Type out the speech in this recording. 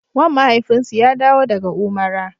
Wan mafaifinsu ya dawo daga Umara.